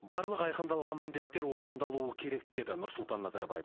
барлық айқындалған міндеттер орындалуы керек деді нұрсұлтан назарбаев